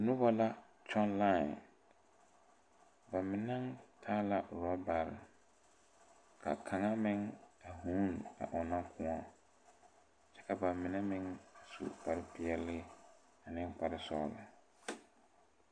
Nobɔ la kyɔŋ lai ba mine taa rɔbarre kaŋa meŋ a vuune a ɔŋnɔ kõɔ ka ba mine meŋ su kpare peɛle ane kpare sɔglɔ.